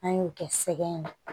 An y'o kɛ sɛgɛn na